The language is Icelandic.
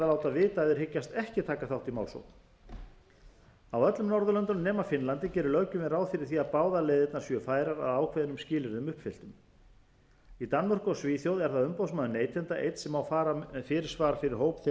þeir hyggjast ekki taka þátt í málsókn á öllum norðurlöndunum nema finnlandi gerir löggjöfin ráð fyrir því að báðar leiðirnar séu færar að ákveðnum skilyrðum uppfylltum í danmörku og svíþjóð er það umboðsmaður neytenda einn sem má fara með fyrirsvar fyrir hóp þegar